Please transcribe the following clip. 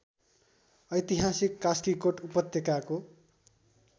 ऐतिहासिक कास्कीकोट उपत्यकाको